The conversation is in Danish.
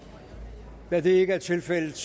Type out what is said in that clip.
er det ikke er tilfældet